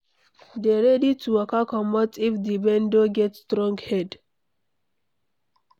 Dey ready to waka comot if di vendor get strong head